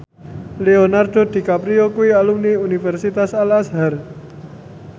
Leonardo DiCaprio kuwi alumni Universitas Al Azhar